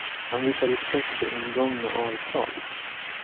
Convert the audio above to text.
Han visar respekt för ingångna avtal.